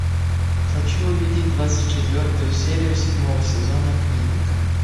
хочу увидеть двадцать четвертую серию седьмого сезона клиника